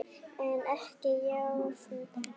En ekki jafn löng.